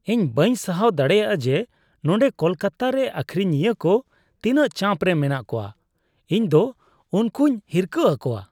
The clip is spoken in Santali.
ᱤᱧ ᱵᱟᱹᱧ ᱥᱟᱦᱟᱣ ᱫᱟᱲᱮᱭᱟᱜᱼᱟ ᱡᱮ ᱱᱚᱸᱰᱮ ᱠᱳᱞᱠᱟᱛᱟᱨᱮ ᱟᱹᱠᱷᱤᱨᱤᱧᱤᱭᱟᱹ ᱠᱚ ᱛᱤᱱᱟᱹ ᱪᱟᱯ ᱨᱮ ᱢᱮᱱᱟᱜ ᱠᱚᱣᱟ ᱾ ᱤᱧᱫᱚ ᱩᱱᱠᱩᱧ ᱦᱤᱨᱠᱟᱹ ᱟᱠᱚᱣᱟ ᱾